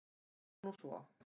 Það fór nú svo.